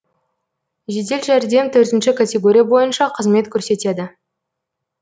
жедел жәрдем төртінші категория бойынша қызмет көрсетеді